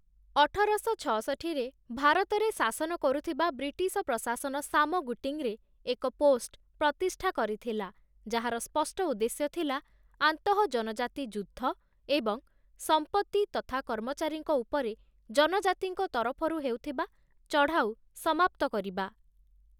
ଅଠରଶ ଛଅଷଠୀରେ, ଭାରତରେ ଶାସନ କରୁଥିବା ବ୍ରିଟିଶ ପ୍ରଶାସନ ସାମଗୁଟିଙ୍ଗ୍‌ରେ ଏକ ପୋଷ୍ଟ ପ୍ରତିଷ୍ଠା କରିଥିଲା, ଯାହାର ସ୍ପଷ୍ଟ ଉଦ୍ଦେଶ୍ୟ ଥିଲା ଆନ୍ତଃଜନଜାତି ଯୁଦ୍ଧ ଏବଂ ସମ୍ପତ୍ତି ତଥା କର୍ମଚାରୀଙ୍କ ଉପରେ ଜନଜାତିଙ୍କ ତରଫରୁ ହେଉଥିବା ଚଢ଼ାଉ ସମାପ୍ତ କରିବା ।